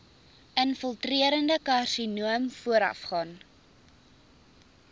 infiltrerende karsinoom voorafgaan